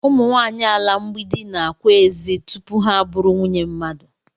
Ụ̣mụ̣ nwanyị ala mgbidi na-ákwà ezi tupu ha bụrụ nwunye mmadụ